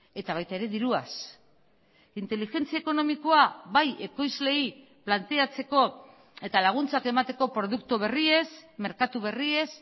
eta baita ere diruaz inteligentzia ekonomikoa bai ekoizleei planteatzeko eta laguntzak emateko produktu berriez merkatu berriez